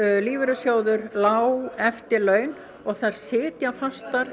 lífeyrissjóður lág eftirlaun og þær sitja fastar